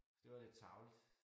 Så det var lidt tarveligt